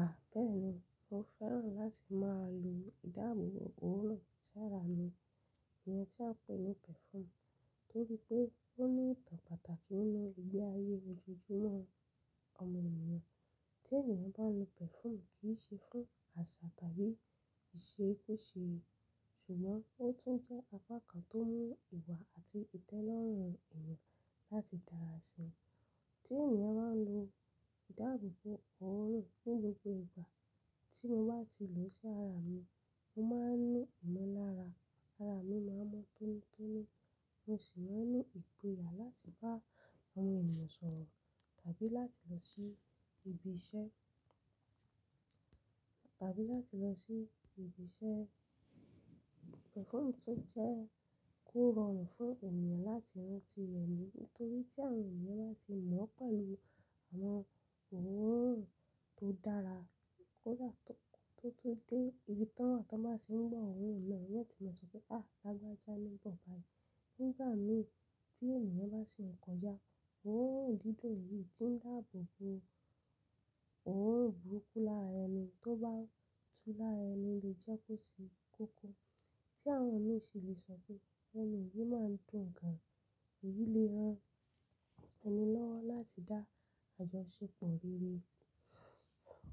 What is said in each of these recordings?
À bẹ ẹ̀ ni mo fẹ́ràn láti máa lo ìdáàbòbò òórùn sí ara mi, ìyẹn tí a ń pè ní perfume, torí pé ó ní ìtàn pàtàkì nínú ìgbé ayé ojoojúmọ́ ọmọ ènìyàn. Tí ènìyàn bá lo perfume kì í ṣe fún àṣà tàbí ìṣe kúṣe, ṣùgbọ́n ó tún jẹ́ apá kan tó mú ìwà àti ìtẹ́ lọ́rùn èèyàn láti dára sí wọn. Tí ènìyàn bá lo ìdáàbòbò òórùn ní gbogbo ìgbà, tí mo bá ti ì lò ó sí ara mi, mo máa ń ní ìmọ̀lára, ara mi máa ń mọ́ tónítóní, mo sì máa ń ní ìgboyà láti bá àwọn ènìyàn sọ̀rọ̀ tàbí láti lọ sí ibi iṣẹ́, tàbí láti lọ sí ibi iṣẹ́. Perfume tún jẹ́ kó rọrùn fún ènìyàn láti rán ti ẹnì nítorí tí àwọn ènìyàn bá ti mọ̀ ọ́ pẹ̀lú àwọn òórùn tó dára, kó dà tó, tó, tó dé ibi tán, wọn tó máa sì ń gbọ́ òórùn náà, wọ́n ti máa sọ pé, "À, lágbájá ni ń bọ̀" Nígbà mí bí ènìyàn bá sì ń kọjá, òórùn dídùn tí ń dáàbòbò òórùn burúkú lára ẹni tó bá tu lára ẹni lè jẹ́ kó ṣe kókó. Tí àwọn mi ṣi le sọ pé ẹni yìí máa ń dùn gan, èyí lè ran ẹni lọ́wọ́ láti dá àjọṣepọ̀ rere,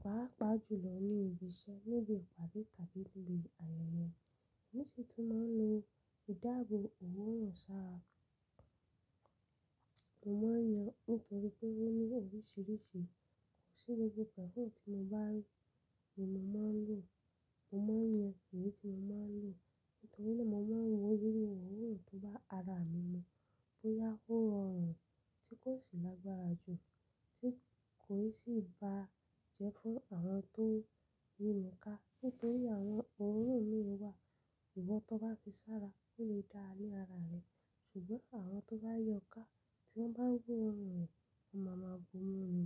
pàápàá jùlọ ní ibi iṣẹ́ níbi ìpàdé tàbí níbi ayẹyẹ. Èmi sì tún máa ń lo ìdáàbò òórùn sí ara. Mo máa ń yan nítorí pé ó ní oríṣiríṣi. Kò sí gbogbo perfume tí mo bá rí ni mo máa ń lò. Mo máa ń yan èyí tí mo máa ń lò nítorí náà mo máa ń wo irú òórùn tó bá ara mi mu bóyá ó rọrùn tí kò sì lágbára jù tí kò sì ba jẹ́ fún àwọn tó rí mi ká nítorí àwọn òórùn mìíràn wà ìwọ tó bá fi sára ó lè dá a ní ara rẹ ṣùgbọ́n àwọn tó bá yí ọ ká tí wọ́n bá gbọ́ òórùn rẹ, won máa má bo múni.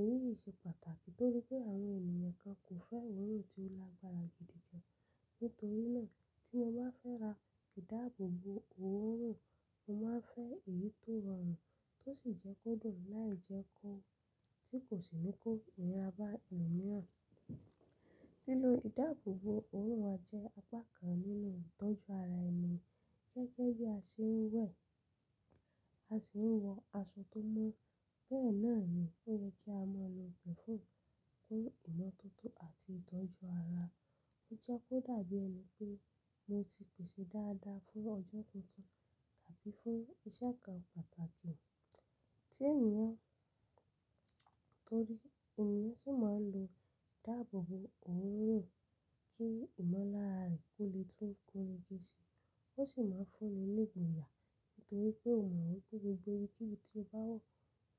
Èyí yìí ṣe pàtàkì torí pé àwọn ènìyàn kan kò fẹ́ òórùn tí ó lágbára gidi jẹ. Nítorí náà tí mo bá fẹ́ ra ìdáàbòbò òórùn, mo máa ń fẹ́ èyí tó rọrùn tó sì jẹ́ kó dùn láì jẹ́ kó tí kò sì ní kó ìríra bá ẹlòmíràn. Lílo ìdáàbòbò òórùn jẹ́ apá kan nínú ìtọ́jú ara ẹni. Gẹ́gẹ́ bí a ṣe ń wẹ̀, a sì ń wọ aṣọ tó mọ́, bẹ́ẹ̀ náà ni ó yẹ kí á máa lo perfume fún ìmọ́tótó àti ìtọ́jú ara. Ó jẹ́ kó dàbí ẹni pé mo ti pèsè dáadáa fún ọjọ́ tuntun tàbí fún iṣẹ́ kan pàtàkì. Tí ènìyàn torí ènìyàn sì máa ń lo ìdáàbòbò òórùn kí ìmọ̀lára rẹ̀ ó lè tún kórè dẹ́ṣì. Ó sì máa ń fún ẹ ní ìgboyà nítorí pé o máa wí pé gbogbo ibi kí ibi tí o bá wọ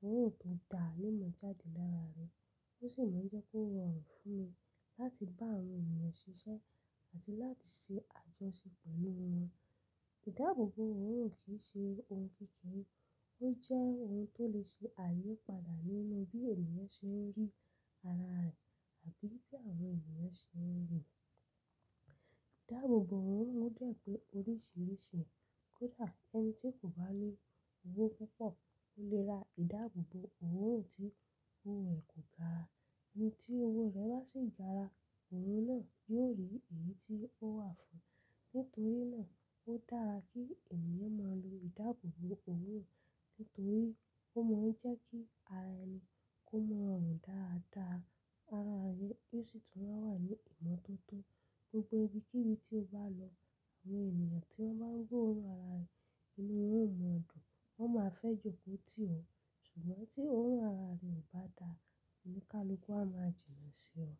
òórùn tó dáa lẹ́mọ́ jáde lára rẹ. Ó sì máa ń jẹ́ kí ọ́ rọrùn fún ẹ láti bá àwọn ènìyàn ṣiṣẹ́ àti láti ṣe àjọṣepọ̀ pẹ̀lú wọn. Ìdáàbòbò òórùn kì í ṣe ohun kékeré, ó jẹ́ ohun tó lè ṣe àyípadà nínú bí ènìyàn ṣe ń rí ara rẹ̀ àbí bí àwọn ènìyàn ṣe ń ríi. Ìdáàbòbò òórùn ò dè pé oríṣiríṣi, kó dà ẹni tí kò bá ní owó púpọ̀ ó lè ra ìdáàbòbò òórùn tí owó rẹ̀ kò gara. Ẹni tí owó rẹ̀ bá sì gara, òórùn náà yóò rí èyí tí ó wà fún un. Nítorí náà ó dára kí ènìyàn máa lo ìdáàbòbò òórùn nítorí ó máa ń jẹ́ kí ara ẹni kó mọ rùn dáadáa ara rẹ, ó sì tún máa wà ní ìmọ́tótó gbogbo ibi kí ibi tí o bá lọ. Àwọn ènìyàn tí wọ́n bá gbọ òórùn ara rẹ inú wọn ó máa dùn, wọ́n máa fẹ́ jòkó tì ọ́ ṣùgbọ́n tí òórùn ara rẹ ò bá dáa, oníkálukú a máa jìnà sí ọ.